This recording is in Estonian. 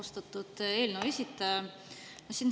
Austatud eelnõu esitaja!